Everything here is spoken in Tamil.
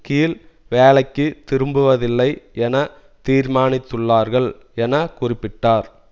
கீழ் வேலைக்கு திரும்புவதில்லை என தீர்மானித்துள்ளார்கள் என குறிப்பிட்டார்